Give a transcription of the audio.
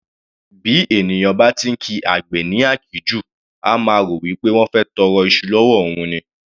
Bí èèyàn bá ti ńkí àgbẹ̀ ní àkíjù, á máa rò wípé wọ́n fẹ́ tọrọ iṣu l'ọ́wọ́ òun ni.